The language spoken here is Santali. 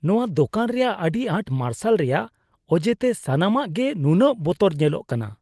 ᱱᱚᱶᱟ ᱫᱳᱠᱟᱱ ᱨᱮᱭᱟᱜ ᱟᱹᱰᱤ ᱟᱸᱴ ᱢᱟᱨᱥᱟᱞ ᱨᱮᱭᱟᱜ ᱚᱡᱮᱛᱮ ᱥᱟᱱᱟᱢᱟᱜ ᱜᱮ ᱱᱩᱱᱟᱹᱜ ᱵᱚᱛᱚᱨ ᱧᱮᱞᱚᱜ ᱠᱟᱱᱟ ᱾